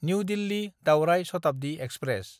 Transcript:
new दिल्ली–दावराय Shatabdi express